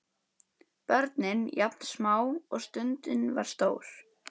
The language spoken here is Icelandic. Börnin jafn smá og stundin var stór.